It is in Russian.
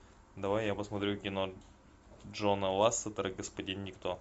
давай я посмотрю кино джона лассетера господин никто